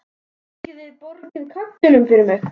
Kannski þið borgið karlinum fyrir mig.